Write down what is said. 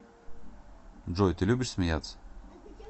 джой ты любишь смеяться